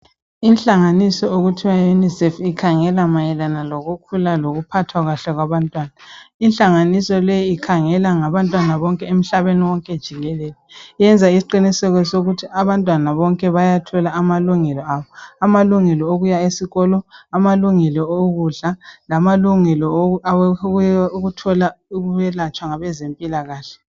Inhlanganiso okuthiwa UNICEF ikhangela mayelana ngokukhula kanye lokuphathwa kahle kwabantwana. Inhlanganiso leyi ikhangela ngabantwana bonke emhlabeni wonke jikelele. Iyenza isiqiniseko sokuthi abantwana bonke bayathola amalungelo abo. Amalungelo okuya esikolo, amalungelo okudla lamalungelo okuthola ukwelatshwa kwezempilakahle.